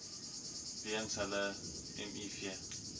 weens hulle miv